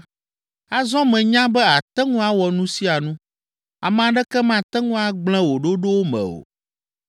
“Azɔ menya be àte ŋu awɔ nu sia nu, ame aɖeke mate ŋu agblẽ wò ɖoɖowo me o.